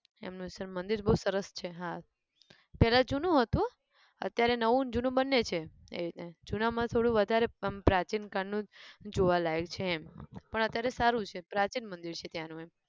એમનું છે મંદિર બઉ સરસ છે હા પેલા જૂનું હતું અત્યારે નવું ન જૂનું બંને છે એ ને જુના માં થોડું વધારે અમ પ્રાચીન કાળ નું જોવાલાયક છે એમ પણ અત્યારે સારું છે પ્રાચીન મંદિર છે ત્યાંનું એમ